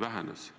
vähenes.